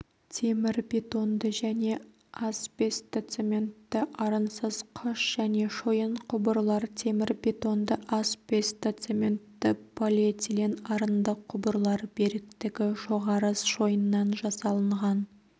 темірбетонды және асбестоцементті арынсыз қыш және шойын құбырлар темірбетонды асбестоцементті полиэтилен арынды құбырлар беріктігі жоғары шойыннан жасалынған